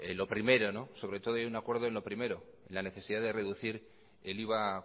hay un acuerdo en lo primero en la necesidad de reducir el iva